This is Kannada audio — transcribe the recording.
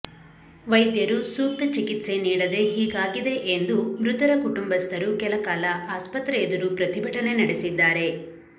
ವೈದ್ಯರು ಸೂಕ್ತ ಚಿಕಿತ್ಸೆ ನೀಡದೇ ಹೀಗಾಗಿದೆ ಎಂದು ಮೃತರ ಕುಟುಂಬಸ್ಥರು ಕೆಲಕಾಲ ಆಸ್ಪತ್ರೆ ಎದುರು ಪ್ರತಿಭಟನೆ ನಡೆಸಿದ್ದಾರೆ